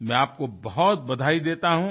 मैं आपको बहुत बधाई देता हूँ